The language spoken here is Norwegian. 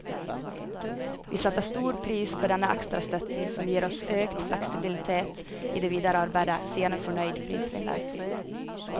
Vi setter stor pris på denne ekstra støtten, som gir oss økt fleksibilitet i det videre arbeidet, sier en fornøyd prisvinner.